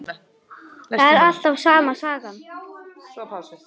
Það er alltaf sama sagan.